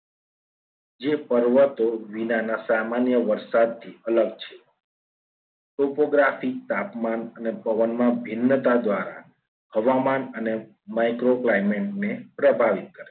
જે પર્વતો વિનાના સામાન્ય વરસાદથી અલગ છે. chocography તાપમાન અને પવનમાં ભિન્નતા જાણવા હવામાન અને micro climate ને પ્રભાવિત કરે છે.